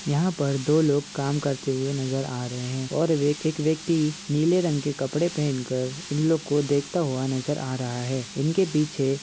यहां पर दो लोग काम करते हुए नजर आ रहे हैं और वे एक व्यक्ति नीले रंग के कपड़े पहनकर इन लोग को देखता हुआ नजर आ रहा है। इनके पीछे --